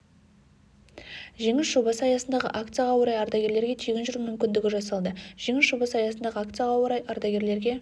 жеңіс жобасы аясындағы акцияға орай ардагерлерге тегін жүру мүмкіндігі жасалды жеңіс жобасы аясындағы акцияға орай ардагерлерге